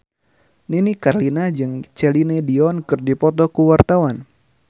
Nini Carlina jeung Celine Dion keur dipoto ku wartawan